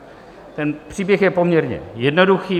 Ten příběh je poměrně jednoduchý.